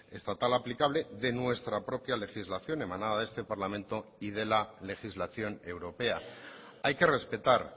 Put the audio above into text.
estatal aplicable de nuestra propia legislación emanada de este parlamento y de la legislación europea hay que respetar